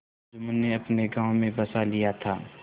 जुम्मन ने अपने गाँव में बसा लिया था